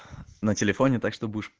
на телефоне так что будешь